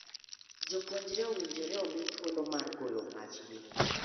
Jopuonjre owinjore omi thuolo mar golo pach gi.